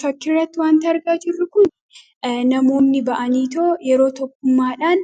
Fakkirratti wanta argaa jirru kun namoonni ba'anii too yeroo tokkummaadhaan